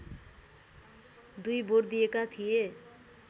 दुई भोट दिएका थिए